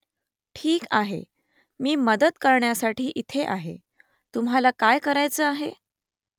ठीक आहे . मी मदत करण्यासाठी इथे आहे . तुम्हाला काय करायचं आहे ?